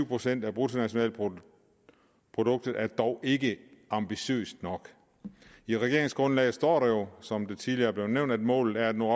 procent af bruttonationalproduktet er dog ikke ambitiøst nok i regeringsgrundlaget står der jo som det tidligere er blevet nævnt at målet er at nå